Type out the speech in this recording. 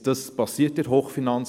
Das passiert in der Hochfinanz.